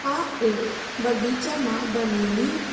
આ એક બગીચા મા બનેલી --